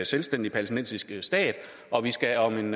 selvstændig palæstinensisk stat og vi skal om en